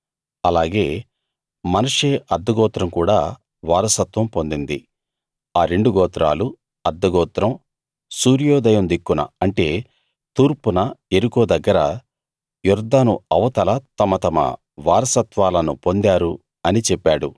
అలాగే మనష్షే అర్థగోత్రం కూడా వారసత్వం పొందింది ఆ రెండు గోత్రాలు అర్థ గోత్రం సూర్యోదయం దిక్కున అంటే తూర్పున యెరికో దగ్గర యొర్దాను అవతల తమ తమ వారసత్వాలను పొందారు అని చెప్పాడు